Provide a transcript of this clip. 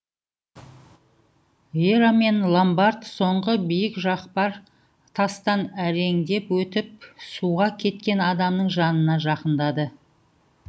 вера мен ломбард соңғы биік жақпар тастан әреңдеп өтіп суға кеткен адамның жанына жақындады